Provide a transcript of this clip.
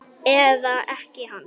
Eða ekkja hans?